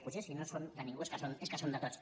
potser si no són de ningú és que són de tots